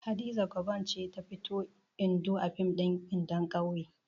Hadiza Gabon ce ta fito Indo a fim ɗin Indon ƙauye.